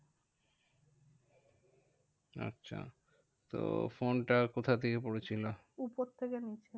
আচ্ছা, তো ফোনটা কোথা থেকে পড়েছিল? উপর থেকে নিচে।